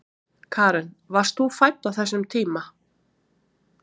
Karen: Varst þú fædd á þessum tíma?